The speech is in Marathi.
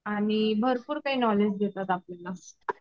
आणि भरपूर काही नॉलेज देतात आपल्याला.